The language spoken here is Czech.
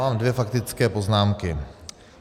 Mám dvě faktické poznámky.